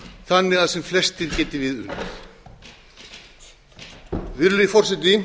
þannig að sem flestir geti við unað virðulegi forseti